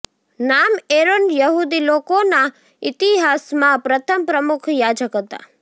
નામ એરોન યહૂદી લોકોના ઇતિહાસમાં પ્રથમ પ્રમુખ યાજક હતા